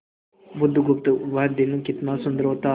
बुधगुप्त वह दिन कितना सुंदर होता